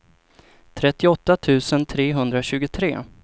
trettioåtta tusen trehundratjugotre